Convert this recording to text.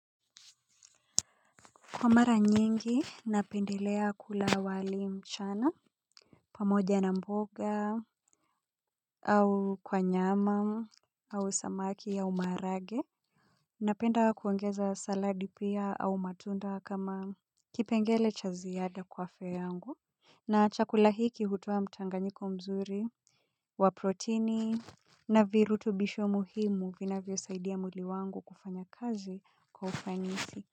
Kwa mara nyingi napendelea kula wali mchana pamoja na mboga au kwa nyama au samaki ya umaharage napenda kuongeza saladi pia au matunda kama kipengele cha ziada kwa afya yangu na chakula hiki hutoa mchanganyiko mzuri wa proteini na virutubisho muhimu vinavyosaidia mwili wangu kufanya kazi kwa ufanisi.